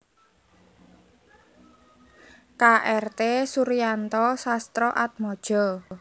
K R T Suryanto Sastroatmojo